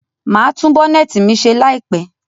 Màá tún Bonnet mi ṣe láìpẹ̀